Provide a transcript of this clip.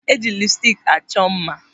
Eji lipstik achọ mma.